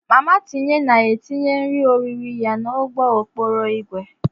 Mama tinye na etinye nri orire ya n'ụgbọ okporo ígwè.